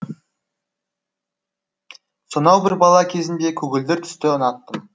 сонау бір бала кезімде көгілдір түсті ұнаттым